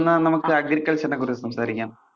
ന്നാ നമുക്ക് agriculture നെ കുറിച്ച് സംസാരിക്കാം.